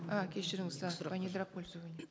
а кешіріңіз а по недропользованию